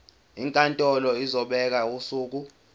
inkantolo izobeka usuku